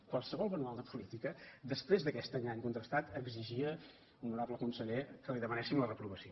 qualsevol manual de política després d’aquest engany contrastat exigia honorable conseller que li demanéssim la reprovació